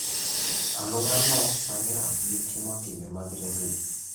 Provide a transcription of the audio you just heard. Aluorano sani rach gi timo timbe mag reso ji.